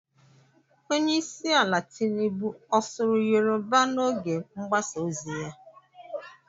Onye isi ala Tinubu ọ sụru Yoroba n'oge mgbasa ozi ya?